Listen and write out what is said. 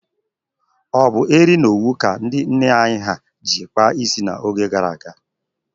O bụ eri na owu ka ndị nne anyị ha ji kpaa isi n'oge gara aga.